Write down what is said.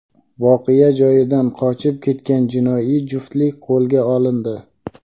voqea joyidan qochib ketgan jinoiy juftlik qo‘lga olindi.